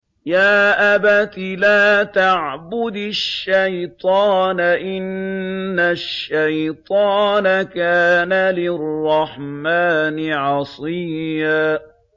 يَا أَبَتِ لَا تَعْبُدِ الشَّيْطَانَ ۖ إِنَّ الشَّيْطَانَ كَانَ لِلرَّحْمَٰنِ عَصِيًّا